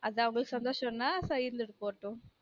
அது அவங்க சந்தோசம்னா போட்டும்